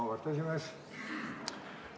Auväärt esimees!